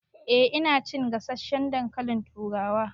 Eh ina cin gasasshen dankalin turawa